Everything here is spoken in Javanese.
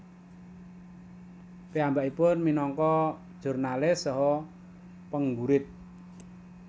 Piyambakipun minangka jurnalis saha penggurit